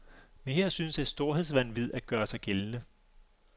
Men her synes et storhedsvanvid at gøre sig gældende.